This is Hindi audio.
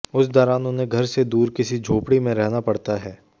उस दौरान उन्हें घर से दूर किसी झोपड़ी में रहना पड़ता है